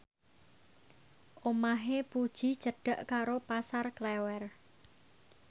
omahe Puji cedhak karo Pasar Klewer